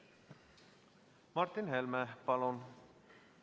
Martin Helme, palun!